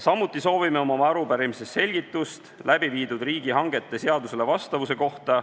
Samuti soovime oma arupärimises selgitust läbi viidud riigihangete seadusele vastavuse kohta.